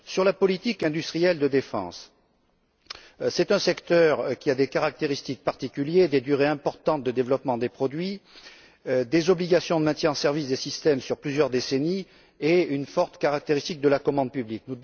La politique industrielle de défense est un secteur qui a des caractéristiques particulières, des durées importantes de développement des produits, des obligations de maintien en service des systèmes sur plusieurs décennies et une forte caractéristique de la commande publique.